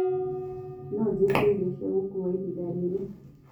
no njĩĩtĩeĩrĩo cĩa gũkũwa ĩhĩnda rĩrĩ